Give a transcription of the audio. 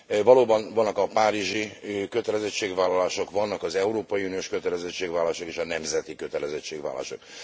Valóban vannak a párizsi kötelezettségvállalások, vannak az európai uniós kötelezettségvállalások és a nemzeti kötelezettségvállalások.